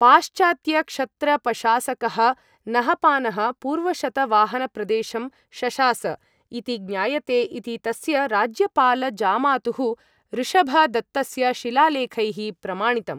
पाश्चात्यक्षत्रपशासकः नहपानः पूर्वशतवाहनप्रदेशं शशास इति ज्ञायते इति तस्य राज्यपालजामातुः ऋषभदत्तस्य शिलालेखैः प्रमाणितम्।